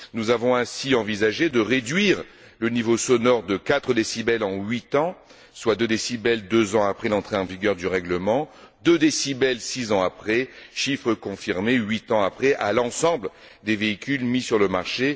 Nous avons ainsi envisagé de réduire le niveau sonore de 4 décibels en huit ans, soit 2 décibels deux ans après l'entrée en vigueur du règlement, et 2 décibels six ans après, chiffre appliqué huit ans après à l'ensemble des véhicules mis sur le marché.